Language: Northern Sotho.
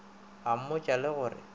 a mmotša le go re